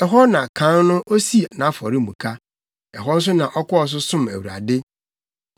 Ɛhɔ na kan no osii nʼafɔremuka. Ɛhɔ nso na ɔkɔɔ so som Awurade.